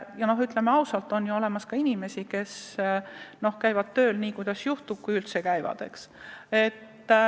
Ja ütleme ausalt, on ka inimesi, kes käivad tööl nii kuidas juhtub või üldse mitte.